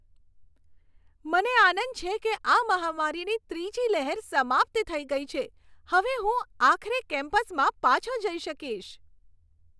મને આનંદ છે કે આ મહામારીની ત્રીજી લહેર સમાપ્ત થઈ ગઈ છે. હવે હું આખરે કેમ્પસમાં પાછો જઈ શકીશ.